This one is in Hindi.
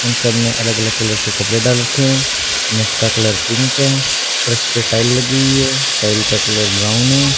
उन सब ने अलग-अलग कलर के कपड़े डाल रखे हैं मैट का कलर पिंक है फर्श पर टाइल लगी हुई है टाइल का कलर ब्राउन है।